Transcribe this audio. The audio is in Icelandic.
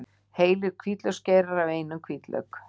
Heilir hvítlauksgeirar af einum hvítlauk